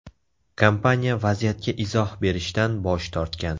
Kompaniya vaziyatga izoh berishdan bosh tortgan.